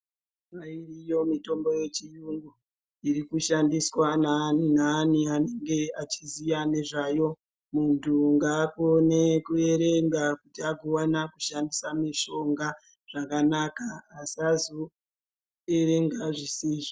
Iriyo mitombo yechiyungu irikushandiswa neani anenge achiziya nezvayo. Muntu ngaakone kuerenga kuti agowana kushandisa mishonga zvakanaka, asazo erenga zvisizvo.